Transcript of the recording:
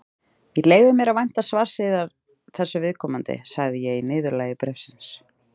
Ég leyfi mér að vænta svars yðar þessu viðkomandi, sagði ég í niðurlagi bréfsins.